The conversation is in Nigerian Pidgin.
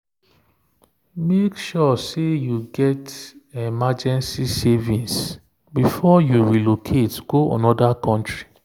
make sure say you get emergency savings before you relocate go another country.